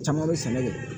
Caman bɛ sɛnɛ de kɛ